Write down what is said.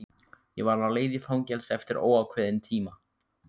Ég var á leið í fangelsi eftir óákveðinn tíma.